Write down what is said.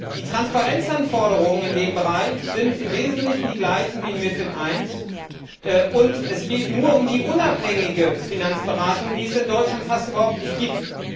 Die Transparenzanforderungen in dem Bereich sind im Wesentlichen die gleichen wie in MiFID I, und es geht nur um die unabhängige Finanzberatung, die es in Deutschland fast überhaupt nicht gibt.